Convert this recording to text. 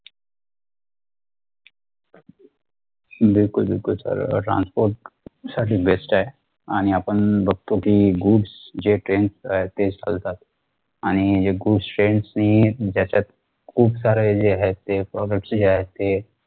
बिलकुल बिलकुल sir अह transport साठी best ए आणि आपण बघतो कि goods अह जे trains ए ते चालतात आणि जे goods trains नि ज्याच्यात खूप सारे जे आहे ते products जे आहे ते